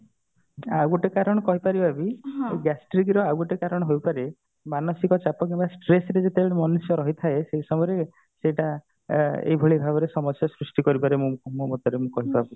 ଆଉ ଗୋଟେ କାରଣ କହିପାରିବା ବି ଯୋଉ gastric ର ଆଉ ଗୋଟେ କାରଣ ହେଇପାରେ ମାନସିକ ଚାପ କିମ୍ବା stress ରେ ଯେତେବେଳେ ମନୁଷ୍ୟ ରହିଥାଏ ସେଇ ସମୟରେ ସେଇଟାଏଇ ଭଳିଆ ଭାବରେ ସମସ୍ୟା ସୃଷ୍ଟି କରିପାରେ ମୋ ମତରେ ମୁଁ କହିପାରୁଛି